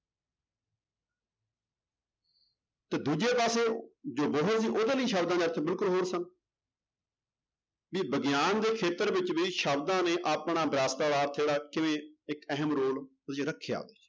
ਤੇ ਦੂਜੇ ਪਾਸੇ ਜੋ ਉਹਦੇ ਲਈ ਸ਼ਬਦਾਂ ਦੇ ਅਰਥ ਬਿਲਕੁਲ ਹੋਰ ਸਨ ਵੀ ਵਿਗਿਆਨ ਦੇ ਖੇਤਰ ਵਿੱਚ ਵੀ ਸ਼ਬਦਾਂ ਨੇ ਆਪਣਾ ਜਿਹੜਾ ਕਿਵੇਂ ਇੱਕ ਅਹਿਮ ਰੋਲ ਰੱਖਿਆ